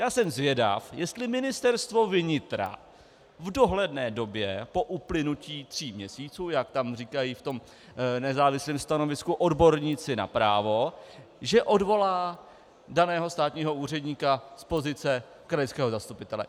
Já jsem zvědav, jestli Ministerstvo vnitra v dohledné době, po uplynutí tří měsíců, jak tam říkají v tom nezávislém stanovisku odborníci na právo, že odvolá daného státního úředníka z pozice krajského zastupitele.